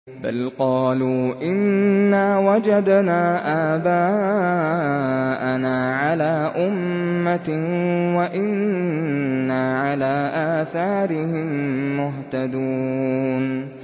بَلْ قَالُوا إِنَّا وَجَدْنَا آبَاءَنَا عَلَىٰ أُمَّةٍ وَإِنَّا عَلَىٰ آثَارِهِم مُّهْتَدُونَ